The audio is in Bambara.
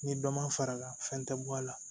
Ni dɔ ma fara fɛn tɛ bɔ a la